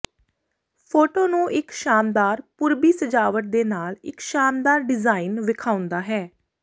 photo ਨੂੰ ਇੱਕ ਸ਼ਾਨਦਾਰ ਪੂਰਬੀ ਸਜਾਵਟ ਦੇ ਨਾਲ ਇੱਕ ਸ਼ਾਨਦਾਰ ਡਿਜ਼ਾਇਨ ਵੇਖਾਉਦਾ ਹੈ